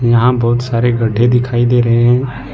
यहां बहुत सारे गड्ढे दिखाई दे रहे हैं ।